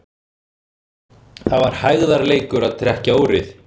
Það var hægðarleikur að trekkja úrið.